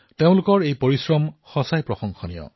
তেওঁলোকৰ এই পৰিশ্ৰম অতিশয় প্ৰশংসনীয়